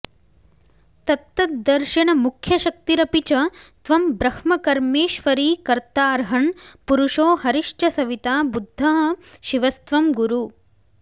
तत्तद्दर्शन मुख्यशक्तिरपि च त्वं ब्रह्मकर्मेश्वरी कर्ताऽर्हन् पुरुषो हरिश्च सविता बुद्धः शिवस्त्वं गुरु